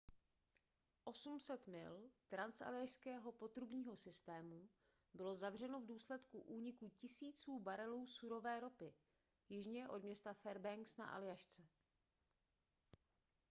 800 mil transaljašského potrubního systému bylo zavřeno v důsledku úniku tisíců barelů surové ropy jižně od města fairbanks na aljašce